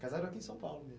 Casaram aqui em São Paulo?